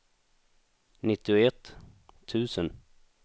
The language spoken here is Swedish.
nittioett tusen